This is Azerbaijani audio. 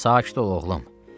Sakit ol oğlum.